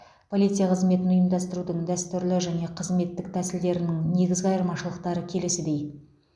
полиция қызметін ұйымдастырудың дәстүрлі және қызметтік тәсілдерінің негізгі айырмашылықтары келесідей